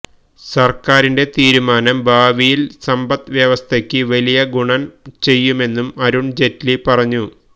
സര്ക്കാരിന്റെ തീരുമാനം ഭാവിയില് സന്പത്ത് വ്യവസ്ഥക്ക് വലിയ ഗുണം ചെയ്യുമെന്നും അരുണ്ജയ്റ്റിലി പറഞ്ഞു